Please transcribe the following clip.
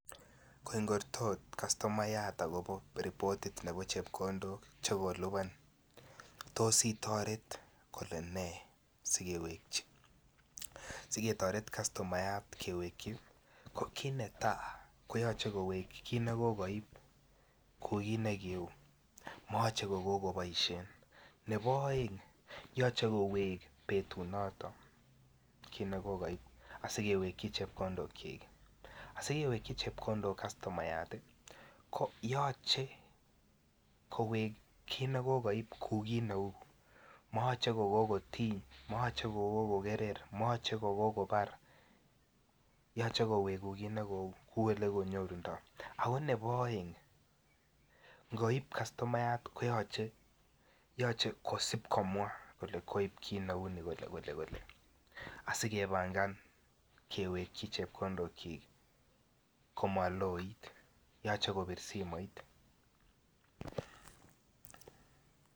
Koingortot customayat akopo repotit nepo chepkondok chokolipan tos itoreti kolene sekewekchi, siketoret customayat kewekyi ko kit netaa koyoche kowekyi kit ne kokoib kouu kii ne kiuu moyoche kokoboshen nebo oeng yoche kowek betut noton kit ne kokoib asi kewekyi chepkondokyik. Asi kewekyi chepkondok customayat ko yoche kowek kit ne kokoib kouu kit ne uu moyoche ko kokotiny moyoche ko kokogerer moyoche ko kokobar yoche kowek kouu ele konyorndo ako nebo oeng ngoib customayat koyoche kosib komwa kolee koib kit kit neuu kole kole asi kepangan kewekyi chepkondokyik komoloit. Yoche kobir simoit